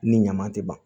Ni ɲaman tɛ ban